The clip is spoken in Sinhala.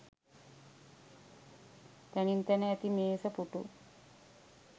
තැනින් තැන ඇති මේස පුටු